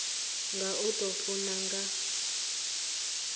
nga u tou funa nga